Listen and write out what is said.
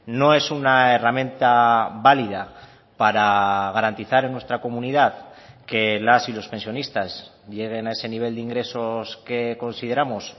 no es una herramienta válida para garantizar en nuestra comunidad que las y los pensionistas lleguen a ese nivel de ingresos que consideramos